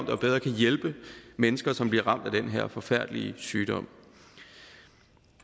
og bedre kan hjælpe mennesker som bliver ramt af den her forfærdelige sygdom